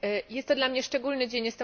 Jest to dla mnie szczególny dzień.